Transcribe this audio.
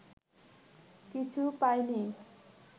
কিছু পায়নি